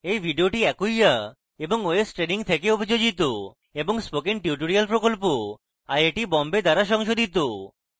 এই video acquia এবং ostraining থেকে অভিযোজিত এবং spoken tutorial প্রকল্প আইআইটি বোম্বে দ্বারা সংশোধিত